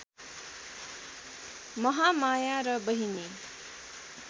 महामाया र बहिनी